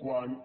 quant